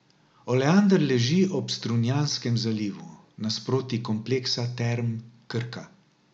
Oleander leži ob Strunjanskem zalivu, nasproti kompleksa Term Krka.